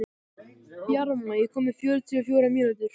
Bjarma, ég kom með fjörutíu og fjórar húfur!